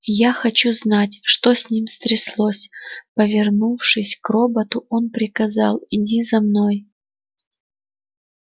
я хочу знать что с ним стряслось повернувшись к роботу он приказал иди за мной